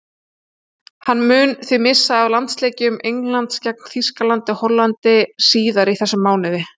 Hann mun því missa af landsleikjum Englands gegn Þýskalandi og Hollandi síðar í þessum mánuði.